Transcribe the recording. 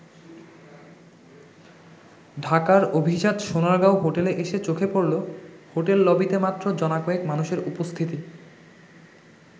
ঢাকার অভিজাত সোনারগাঁও হোটেলে এসে চোখে পড়লো হোটেল লবিতে মাত্র জনাকয়েক মানুষের উপস্থিতি।